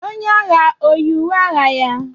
Onye agha o yi uwe agha ya?